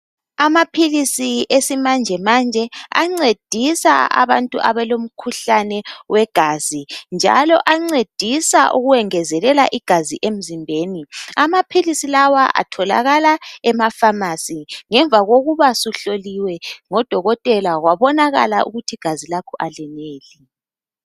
Amaphilisi esimanje manje ancedisa abantu abalomkhuhlane wegazi njalo ancedisa ukwengezelela igazi emzimbeni. Amaphilisi lawa atholakala ema"pharmarcy " ngemva kokuba suhloliwe ngodokotela kwabonakala ukuthi igazi lakho aleneli.